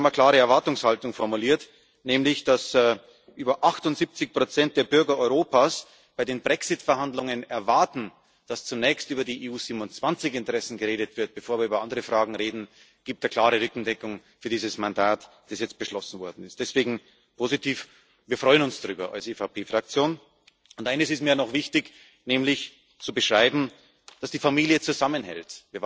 Und wir haben eine klare Erwartungshaltung formuliert, nämlich dass über 78 der Bürger Europas bei den Brexit Verhandlungen erwarten, dass zunächst über die EU 27 Interessen geredet wird, bevor wir über andere Fragen reden. Das gibt eine klare Rückendeckung für dieses Mandat, das jetzt beschlossen worden ist. Deswegen positiv. Wir als EVP Fraktion freuen uns darüber. Eines ist mir noch wichtig, nämlich zu beschreiben, dass die Familie zusammenhält.